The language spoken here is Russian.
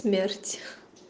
смерть